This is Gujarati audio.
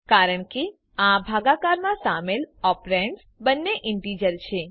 કારણ કે આ ભાગાકારમાં સામેલ ઓપ્રેન્ડ્સ બંને ઈન્ટીજર છે